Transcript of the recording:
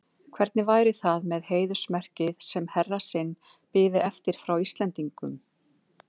Hvernig væri það með heiðursmerkið, sem herra sinn biði eftir frá Íslendingum?